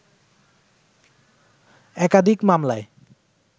একাধিক মামলায়